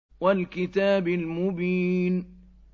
وَالْكِتَابِ الْمُبِينِ